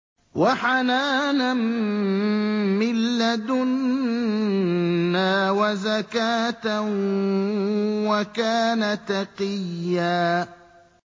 وَحَنَانًا مِّن لَّدُنَّا وَزَكَاةً ۖ وَكَانَ تَقِيًّا